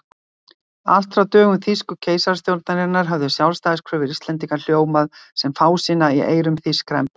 Allt frá dögum þýsku keisarastjórnarinnar höfðu sjálfstæðiskröfur Íslendinga hljómað sem fásinna í eyrum þýskra embættismanna.